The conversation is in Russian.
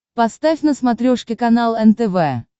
поставь на смотрешке канал нтв